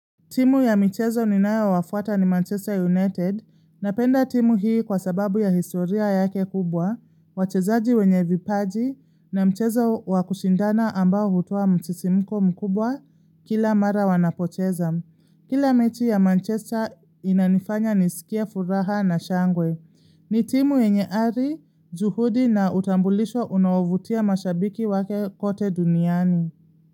Timu ya michezo ninayo wafuata ni Manchester United na penda timu hii kwa sababu ya historia yake kubwa, wachezaji wenye vipaji na mchezo wakushindana ambao hutua msisimko mkubwa kila mara wanapocheza. Kila mechi ya Manchester inanifanya nisikia furaha na shangwe. Ni timu yenye ari, juhudi na utambulisho unaovutia mashabiki wake kote duniani.